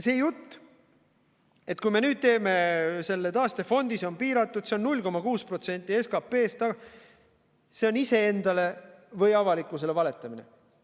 See jutt, et kui me nüüd teeme selle taastefondi, see on piiratud, see on 0,6% SKP-st – see on iseendale või avalikkusele valetamine.